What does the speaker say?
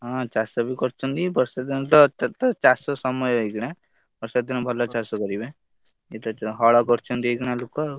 ହଁ ଚାଷ ବି କରିଛନ୍ତି ବର୍ଷା ଦିନ ତ ଚାଷ ସମୟ ଏଇଖିଣା ବର୍ଷା ଦିନେ ଭଲ ଚାଷ କରିବେ ହଲ କରିଛନ୍ତି ଏଇଖିଣା ଲୋକ।